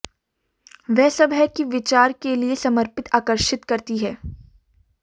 वह सब है कि विचार के लिए समर्पित आकर्षित करती है